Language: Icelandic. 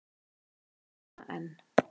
Ég man hana enn.